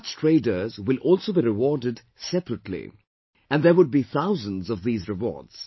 Such traders will also be rewarded separately and there would be thousands of these rewards